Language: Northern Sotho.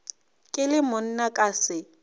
ke le monna ka se